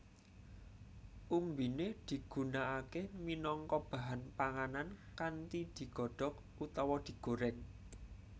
Umbiné digunakaké minangka bahan panganan kanthi digodhok utawa digorèng